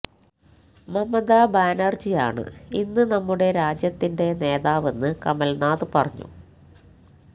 മമത ബാനർജിയാണ് ഇന്ന് നമ്മുടെ രാജ്യത്തിന്റെ നേതാവെന്ന് കമൽനാഥ് പറഞ്ഞു